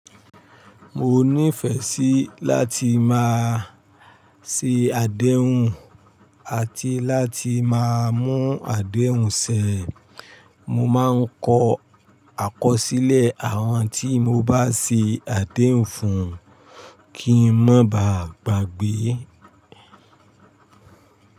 Mo nífẹ̀ẹ́ sí láti máa se àdéhùn àti láti má mú àdéhùn sẹ. Mo máa ń kọ àkọsílẹ̀ àwọn tí mo bá se àdéhùn fún kí n má bá gbàgbé.